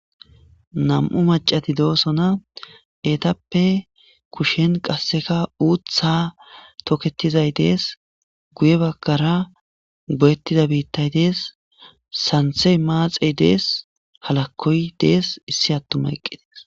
Nam7u macati doosona eetappe kushshen qasseka uuththa toketizay dees guye bakkara goyettida biittay dees santhey maaxey dees halakkoy dees issi attuma eqqi dees.